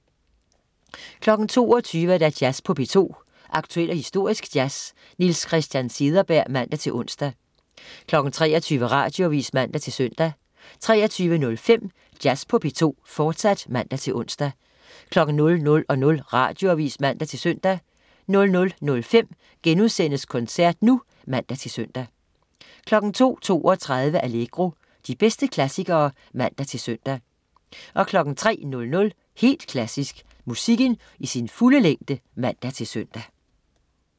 22.00 Jazz på P2. Aktuel og historisk jazz. Niels Christian Cederberg (man-ons) 23.00 Radioavis (man-søn) 23.05 Jazz på P2, fortsat (man-ons) 00.00 Radioavis (man-søn) 00.05 Koncert nu* (man-søn) 02.32 Allegro. De bedste klassikere (man-søn) 03.00 Helt Klassisk. Musikken i sin fulde længde (man-søn)